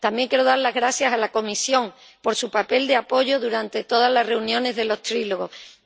También quiero dar las gracias a la Comisión por su papel de apoyo durante todas las reuniones de los diálogos tripartitos.